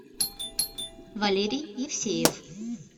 валерий евсеев